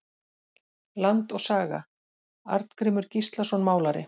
Land og saga- Arngrímur Gíslason málari.